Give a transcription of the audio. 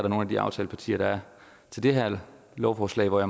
nogle af de aftalepartier der er til det her lovforslag at